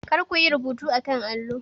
Kar ku yi rubuta a kan allo.